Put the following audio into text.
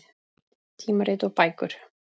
Tímarit og bækur.